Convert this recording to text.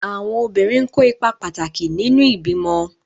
Àwọn obìnrin n kó ipa pàtàkì nínu ìbímọ